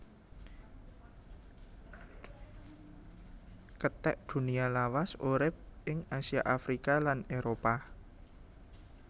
Kethek Dunia lawas urip ing Asia Afrika lan Éropah